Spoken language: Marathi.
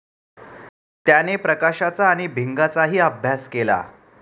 त्याने प्रकाशाचा आणि भिंगाचाही अभ्यास केला.